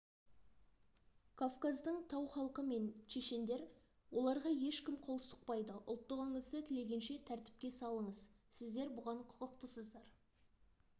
кавказдың тау халқы мен чешендер оларға ешкім қол сұқпайды ұлттығыңызды тілегенше тәртіпке салыңыз сіздер бұған құқықтысыздар